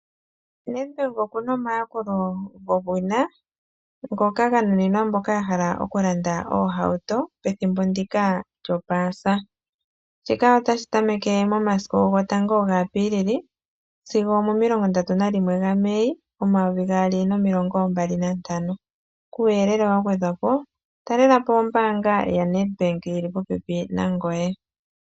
Nedbank okuna omayakulo gowina ngoka ganunina mboka yahala okulanda oohauto pethimbo ndika lyopaasa. Shika otashi tameke momasiku gotango gaApiilili sigo omomilongo mbali ndatu nalimwe gaMei , omayovi gaali nomilongo mbali nantano. Kuuyelele wagwedhwapo talelapo ombaanga yaNedbank ndjoka yili popepi nangoye.